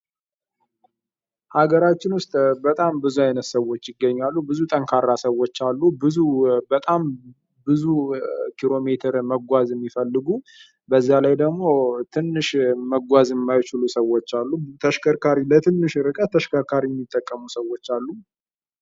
በሀገራችን ውስጥ በጣም ብዙ አይነት ሰዎች ይገኛሉ ጠንካራ ሰዎች አሉ ብዙ ኪሎ ሜትር መጓዝ የሚችሉ በዛ ላይ ደግሞ ትንሽ መጓዝ የማይችሉ ሰዎች አሉ ለትንሽ ተሽከርካሪ የሚጠቀሙ ሰዎች አሉ።